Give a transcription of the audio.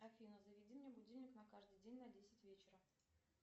афина заведи мне будильник на каждый день на десять вечера